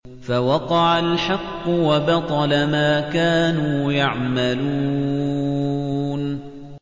فَوَقَعَ الْحَقُّ وَبَطَلَ مَا كَانُوا يَعْمَلُونَ